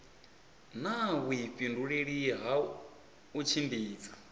na vhuifhinduleli ha u tshimbidza